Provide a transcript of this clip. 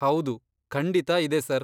ಹೌದು, ಖಂಡಿತಾ ಇದೆ ಸರ್.